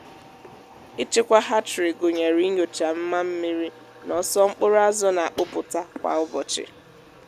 ịchịkwa hatchery gụnyere inyochà mma mmiri na ọsọ mkpụrụ azụ na-akpụpụta kwa ụbọchị.